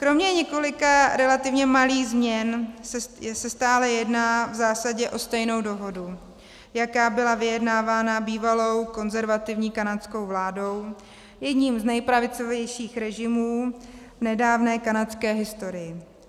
Kromě několika relativně malých změn se stále jedná v zásadě o stejnou dohodu, jaká byla vyjednávána bývalou konzervativní kanadskou vládou, jedním z nepravicovějších režimů v nedávné kanadské historii.